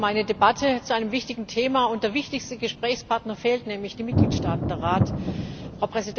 Wir haben eine Debatte zu einem wichtigen Thema, und der wichtigste Gesprächspartner fehlt, nämlich die Mitgliedstaaten, also der Rat.